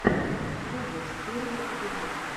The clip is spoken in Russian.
тубас первый эпизод